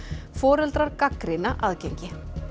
foreldrar gagnrýna aðgengi